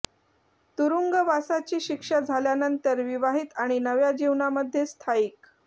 तुरुंगवासाची शिक्षा झाल्यानंतर विवाहित आणि नव्या जीवनामध्ये स्थायिक